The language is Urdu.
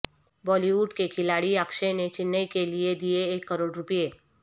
بالی ووڈ کے کھلاڑی اکشے نے چنئی کیلئے دیئے ایک کروڑ روپے